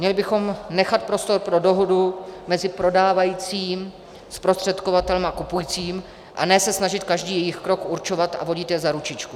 Měli bychom nechat prostor pro dohodu mezi prodávajícím, zprostředkovatelem a kupujícím a ne se snažit každý jejich krok určovat a vodit je za ručičku.